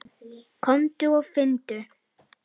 Komdu og finndu!